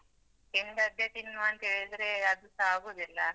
ತಿಂದದ್ದೆ ತಿನ್ನುವಂತ ಹೇಳಿದ್ರೆ ಅದುಸ ಆಗುದಿಲ್ಲ.